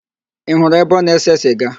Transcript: Ị hụrụ ebe ọ na-ese siga?